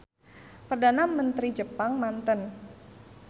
Perdana Mentri Jepang manten.